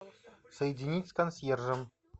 соединить с консьержем